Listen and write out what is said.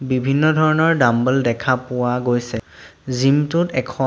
বিভিন্ন ধৰণৰ ডাম্বল দেখা পোৱা গৈছে জিম টোত এখন--